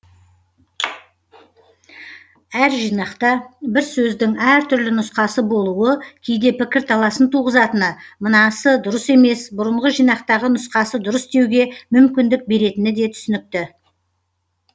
әр жинақта бір сөздің әр түрлі нұсқасы болуы кейде пікірталасын туғызатыны мынасы дұрыс емес бұрынғы жинақтағы нұсқасы дұрыс деуге мүмкіндік беретіні де түсінікті